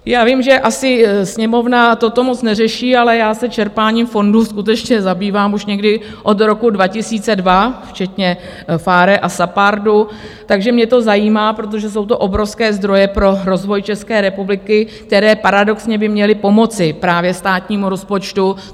Já vím, že asi Sněmovna toto moc neřeší, ale já se čerpáním fondů skutečně zabývám už někdy od roku 2002 včetně PHARE a SAPARDu, takže mě to zajímá, protože jsou to obrovské zdroje pro rozvoj České republiky, které paradoxně by měly pomoci právě státnímu rozpočtu.